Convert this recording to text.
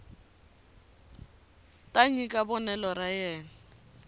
ta nyika vonelo ra yena